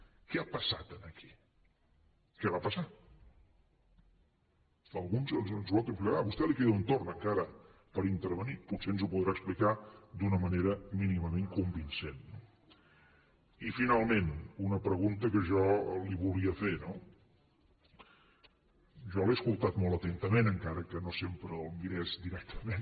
què ha passat aquí què va passar algú ens ho pot traslladar a vostè li queda un torn encara per intervenir potser ens ho podrà explicar d’una manera mínimament convincent no i finalment una pregunta que jo li volia fer no jo l’he escoltat molt atentament encara que no sempre el mirés directament